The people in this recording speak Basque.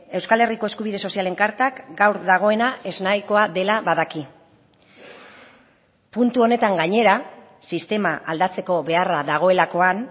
euskal herriko eskubide sozialen kartak gaur dagoena eznahikoa dela badaki puntu honetan gainera sistema aldatzeko beharra dagoelakoan